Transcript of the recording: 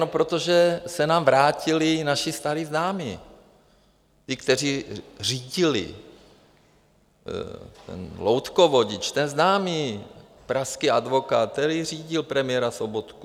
No protože se nám vrátili naši staří známí, ti, kteří řídili, ten loutkovodič, ten známý pražský advokát, který řídil premiéra Sobotku.